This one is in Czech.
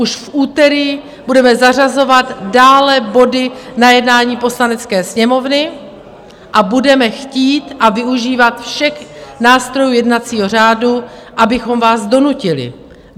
Už v úterý budeme zařazovat dále body na jednání Poslanecké sněmovny a budeme chtít a využívat všech nástrojů jednacího řádu, abychom vás donutili.